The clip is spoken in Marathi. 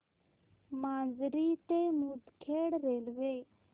माजरी ते मुदखेड रेल्वे